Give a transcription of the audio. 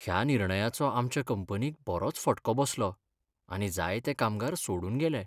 ह्या निर्णयाचो आमच्या कंपनीक बरोच फटको बसलो आनी जायते कामगार सोडून गेले.